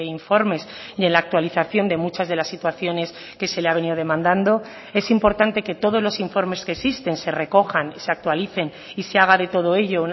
informes y en la actualización de muchas de las situaciones que se le ha venido demandando es importante que todos los informes que existen se recojan se actualicen y se haga de todo ello